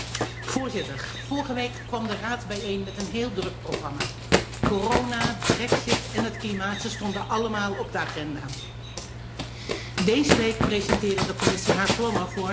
Voorzitter, vorige week kwam de Raad bijeen met een heel druk programma corona, de brexit en het klimaat, ze stonden allemaal op de agenda. Deze week presenteerde de Commissie haar plannen voor